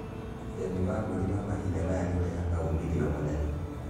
Ũrĩmi wa mbũri wa mahinda maya nĩ ũrehaga uumithio mũnene.